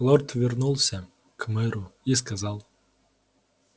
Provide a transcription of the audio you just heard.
лорд вернулся к мэру и сказал